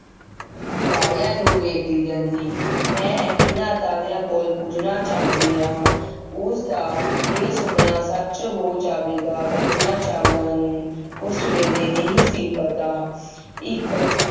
ਤਾਰਿਆਂ ਨੂੰ ਵੇਖਦੀ ਰਹਿੰਦੀ। ਮੈਂ ਇਹਨਾਂ ਤਾਰਿਆਂ ਕੋਲ ਪੁੱਛਣਾ ਚਾਹੁੰਦੀ ਹਾਂ। ਉਸਦਾ ਇਹ ਸੁਪਨਾ ਸੱਚ ਹੋ ਜਾਵੇਗਾ, ਕਲਪਨਾ ਚਾਵਲਾ ਨੂੰ ਉਸ ਵੇਲੇ ਨਹੀਂ ਸੀ ਪਤਾ। ਇੱਕ